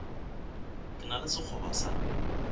ke na le sekgoba sa